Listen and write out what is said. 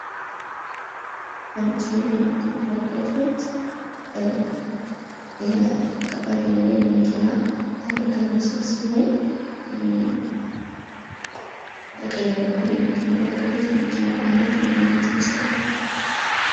በምስሉ ላይ የምትመለከቱት ከባድ የሆነ የመኪና አደጋ ምስል ሲሆን በቀኝ በኩል የምትመለከቱት የመኪናው አይነት ምን አይነት ይመስላችኃል?